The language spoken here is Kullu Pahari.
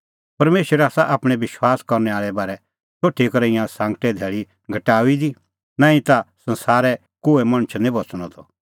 परमेशरै आसा आपणैं विश्वास करने आल़े बारै सोठी करै ईंयां सांगटे धैल़ी घटाऊई दी नांईं ता संसारै निं कोहै मणछ बच़णअ त